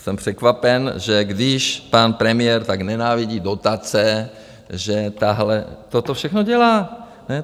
Jsem překvapen, že když pan premiér tak nenávidí dotace, že toto všechno dělá.